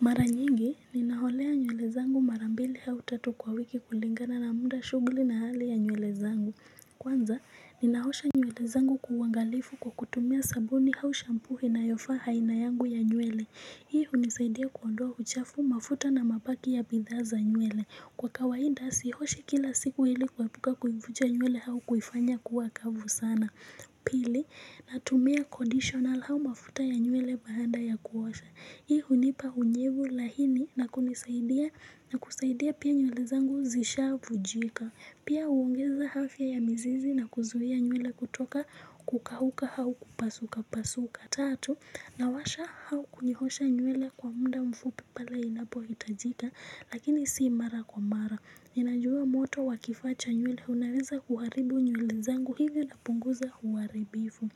Mara nyingi, ninaholea nywele zangu marambili hau tatu kwa wiki kulingana na muda shuguli na hali ya nywele zangu. Kwanza, ninaosha nywele zangu kuwangalifu kwa kutumia sabuni hau shampu ina yofa haina yangu ya nywele. Hii hunisaidia kuondoa uchafu mafuta na mapaki ya bidhaa za nywele. Kwa kawaida, sihoshe kila siku hili kwa epuka kuivuja nywele hau kuifanya kuwa kavu sana. Pili, natumia konditional hau mafuta ya nywele baada ya kuwasha. Hii hunipa unyevu laini na kunisaidia na kusaidia pia nywele zangu zishavu jika Pia uongeza hafya ya mzizi na kuzuia nywele kutoka kukahuka hau kupasuka pasuka Tatu, nawasha hau kunihosha nyweli kwa muda mfupi pale inapo itajika Lakini sii mara kwa mara Ninajua moto wa kifacha nyweli unaweza kuharibu nyweli zangu hivyo na punguza huaribifu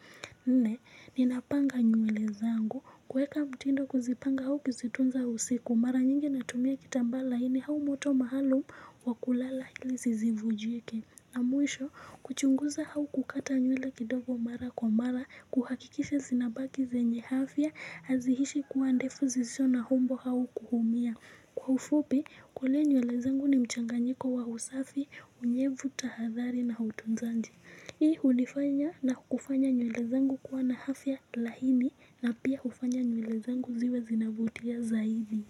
Nne ninapanga nywele zangu kweka mtindo kuzipanga hau kuzitunza usiku mara nyingi natumia kitambala ini hau moto mahalo wakulala hili zisi vujieke na mwisho kuchunguza hau kukata nywele kidogo mara kwa mara kuhakikisha zinabaki zenye hafya azihishi kuwa andefu zisho na humbo hau kuhumia Kwa ufupi kule nywele zangu ni mchanganyiko wa usafi unyevu tahadhari na hutunzandi Hii ulifanya na kufanya nyuele zangu kuwa na hafya lahini na pia ufanya nyule zangu ziwe zinabutia zaidi.